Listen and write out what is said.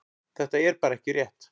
Þetta er bara ekki rétt.